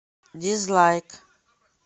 дизлайк